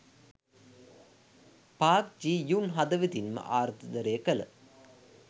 Park Ji Yoon හදවතින්ම ආදරය කළ